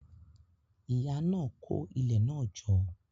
Ìyá náà kó ilẹ̀ náà jọ.